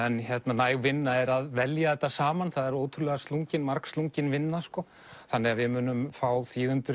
næg vinna er að velja þetta saman það er ótrúlega margslungin margslungin vinna þannig að við munum fá þýðendur